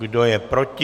Kdo je proti?